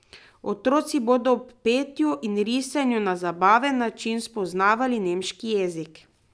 Otroci bodo ob petju in risanju na zabaven način spoznavali nemški jezik.